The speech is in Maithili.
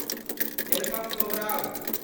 एल्बम दोहराउ